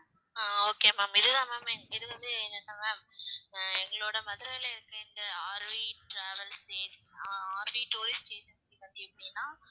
அஹ் okay ma'am இது தான் ma'am இது வந்து என்ன ma'am அஹ் எங்களோட மதுரையில இருக்குற இந்த R V travels ah R V tourist agency பத்தி எப்படின்னா